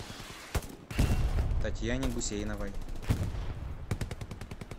татьяне гусейновой